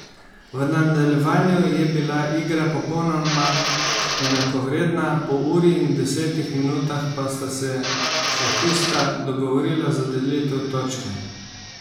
V nadaljevanju je bila igra popolnoma enakovredna, po uri in desetih minutah pa sta se šahista dogovorila za delitev točke.